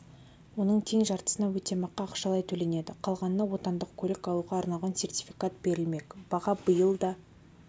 оның тең жартысына өтемақы ақшалай төленеді қалғанына отандық көлік алуға арналған сертификат берілмек баға биыл да